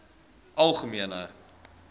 algemene